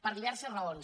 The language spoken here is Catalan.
per diverses raons